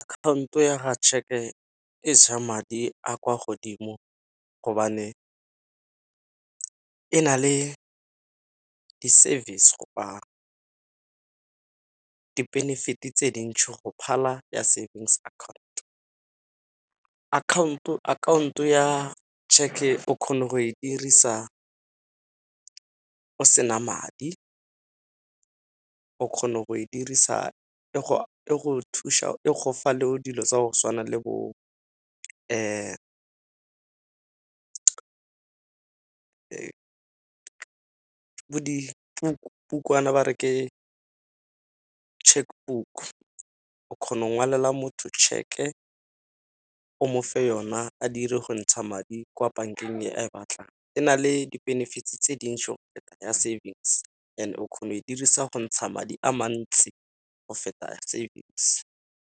Akhaonto ya tšheke e ja madi a kwa godimo gobane e na le di-service di-benefit-e tse dintšhi go phala ya savings account. khaonto ya tšheke o kgone go e dirisa o sena madi, o kgona go e dirisa e gofa le dilo tsa go tshwana le bo ba re ke check book o kgona ngwalela motho tšheke o mofe yona a dire go ntsha madi kwa bankeng e a e batlang. E na le di-benefit tse di ntšhi go feta ya savings and o kgona go e dirisa go ntsha madi a mantsi go feta savings.